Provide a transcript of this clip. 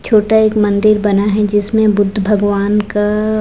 छोटा एक मंदिर बना है जिसमें बुद्ध भगवान का--